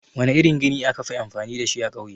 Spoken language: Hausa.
Wana irin gini akafi amfani dashi a ƙauye?